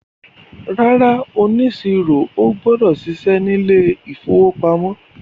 ràrá oniṣiro o gbọdọ ṣiṣẹ ní ilè ìfowópamọ́.